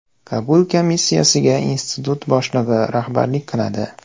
Qabul komissiyasiga Institut boshlig‘i rahbarlik qiladi.